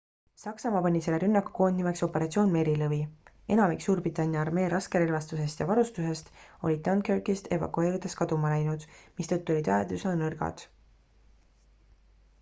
saksamaa pani selle rünnaku koodnimeks operatsioon merilõvi enamik suurbritannia armee raskerelvastusest ja varustusest oli dunkirkist evakueerudes kaduma läinud mistõttu olid väed üsna nõrgad